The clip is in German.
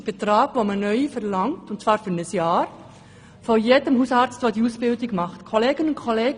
4500 Franken verlangt man neu von jedem Hausarzt, der diese Ausbildung anbietet.